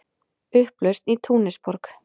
Upplausn í Túnisborg